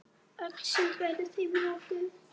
Öll sund væru þeim lokuð.